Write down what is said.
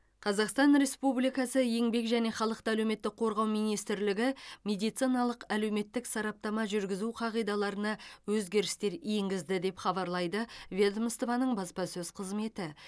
қазақстан республикасы еңбек және халықты әлеуметтік қорғау министрлігі медициналық әлеуметтік сараптама жүргізу қағидаларына өзгерістер енгізді деп хабарлайды ведомствоның баспасөз қызметі